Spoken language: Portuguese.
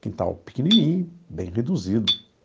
Quintal pequenininho, bem reduzido.